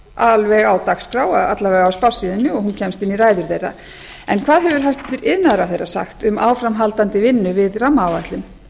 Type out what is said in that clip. alveg á dagskrá alla vega á spássíunni og hún kemst inn í ræður þeirra en hvað hefur hæstvirtur iðnaðarráðherra sagt um áframhaldandi vinnu við rammaáætlun